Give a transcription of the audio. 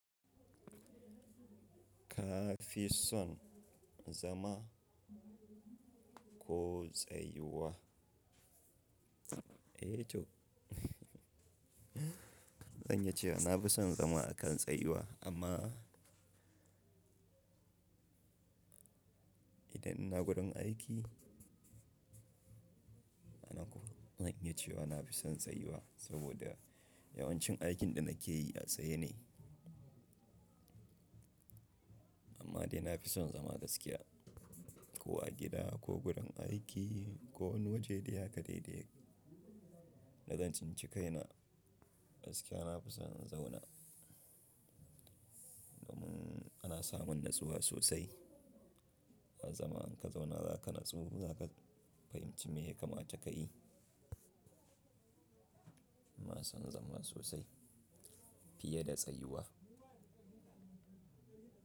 Ka fi son zama ko tsayuwa? Eh to zan iya cewa na fi son zama a kan tsayuwa amma idan ina gurin aiki ina kuma zan yi ce wa na fi son tsayuwa saboda yawancin aikin da nake yi a tsaye ne. Amma dai na fi son zama gaskiya ko a gida ko gurin aiki ko wani waje dai haka dai daya. Da zan tsinci kaina gaskiya na fi son na zauna domin ana samun natsuwa sosai. A zaman ka zauna za ka natsu za ka fahimci me ya kamata ka yi. Na fi son zama sosai fiye da tsayuwa.